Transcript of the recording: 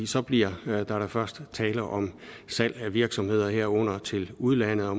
så bliver der da først tale om salg af virksomheder herunder til udlandet og